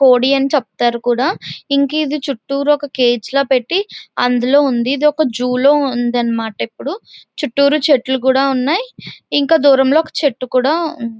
కోడి అని చెప్తారు. కూడా ఇంకా ఇది చుట్టూరా ఒక కేజ్ పెట్టి అందులో ఉంది. ఇదొక జూ లో ఉందన్నమాట. ఇప్పుడు చుట్టూరా చెట్లు కూడా ఉన్నాయి. ఇంకా దూరంలో ఒక చెట్టు కూడా ఉంది.